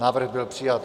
Návrh byl přijat.